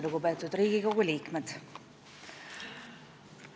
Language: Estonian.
Lugupeetud Riigikogu liikmed!